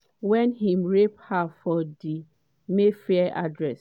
wen im rape her for di mayfair address.